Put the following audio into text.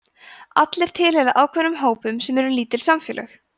allir tilheyra ákveðnum hópum sem eru lítil samfélög